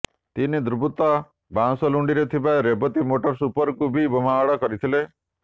ତିନି ଦୁର୍ବୁତ୍ତ ବାଉଁଶଲୁଣ୍ଡିରେ ଥିବା ରେବତୀ ମୋଟର୍ସ ଉପରକୁ ବି ବୋମାମାଡ଼ କରିଥିଲେ